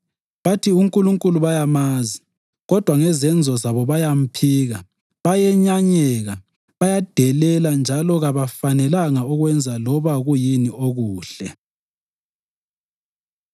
Bathi uNkulunkulu bayamazi kodwa ngezenzo zabo bayamphika. Bayenyanyeka, bayadelela njalo kabafanelanga ukwenza loba kuyini okuhle.